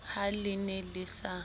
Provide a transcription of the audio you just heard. ha le ne le sa